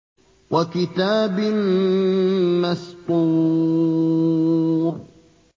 وَكِتَابٍ مَّسْطُورٍ